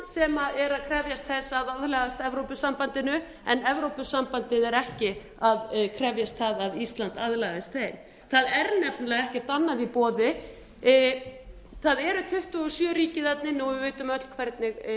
sem er að krefjast þess að aðlagast evrópusambandinu en evrópusambandið er ekki að krefjast þess að ísland aðlagist því það er nefnilega ekkert annað í boði það eru tuttugu og sjö ríki þarna inni og við vitum öll hvernig